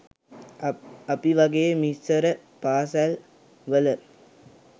අපි වගේ මිස්සර පාසැල් වල